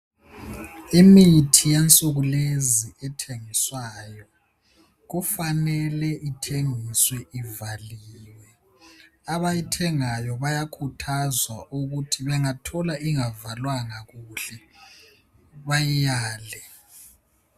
Imithi yensuku lezi ethengiswayo kufanele ithengiswe ivaliwe. Abayithengayo bayakhuthazwa ukuthi bengathola ingavalwanga kuhle bayiyale.